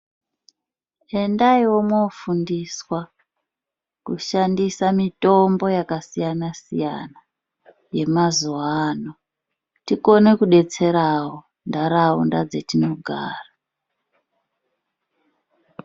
Endaiwo mofundiswa kushandisa mitombo yakasiyana siyana yemazuva ano, tikone kudetserawo ntaraunda dzetinogara.